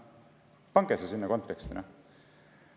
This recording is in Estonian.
Pange see konteksti!